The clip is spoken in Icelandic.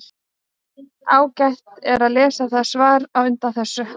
Ágætt er að lesa það svar á undan þessu.